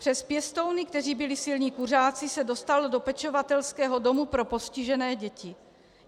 Přes pěstouny, kteří byli silní kuřáci, se dostal do pečovatelského domu pro postižené děti.